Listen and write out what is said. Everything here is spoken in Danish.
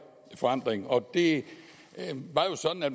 forandring og det var jo sådan at